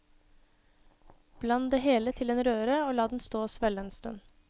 Bland det hele til en røre og la den stå og svelle en stund.